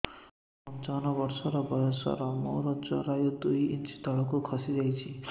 ମୁଁ ପଞ୍ଚାବନ ବର୍ଷ ବୟସ ମୋର ଜରାୟୁ ଦୁଇ ଇଞ୍ଚ ତଳକୁ ଖସି ଆସିଛି